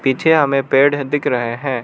पीछे हमें पेड़ दिख रहे हैं।